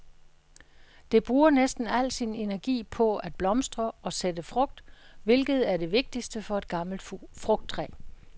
Det bruger næsten al sin energi på at blomstre og sætte frugt, hvilket er det vigtigste for et gammelt frugttræ.